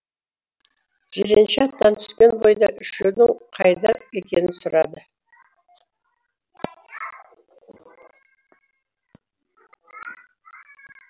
жиренше аттан түскен бойда үшеудің қайда екенін сұрады